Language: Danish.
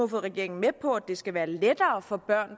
fået regeringen med på at det skal være lettere for børn